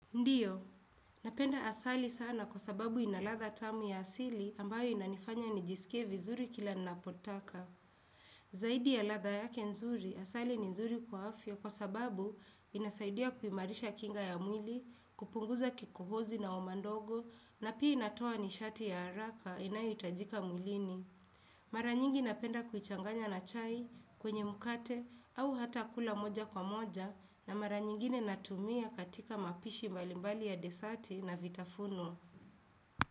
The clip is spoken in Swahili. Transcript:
Ndio, napenda asali sana kwa sababu ina ladha tamu ya asili ambayo inanifanya nijisikie vizuri kila napotaka. Zaidi ya ladha yake nzuri, asali ni nzuri kwa afya kwa sababu inasaidia kuimarisha kinga ya mwili, kupunguza kikohozi na homa ndogo, na pia inatoa nishati ya haraka inayohitajika mwilini. Mara nyingi napenda kuichanganya na chai kwenye mkate au hata kula moja kwa moja na mara nyingine natumia katika mapishi mbalimbali ya desati na vitafuno.